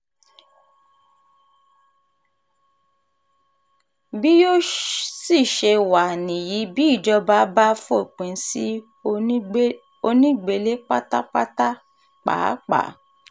bí yóò sì ṣe wá níyì bí ìjọba bá fòpin sí onígbélé pátápátá pàápàá